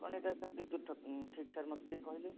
କହିଲେ sir ଏଟା କେତେ ଦୂର ଠିକ ମତେ ଟିକେ କହିଲେ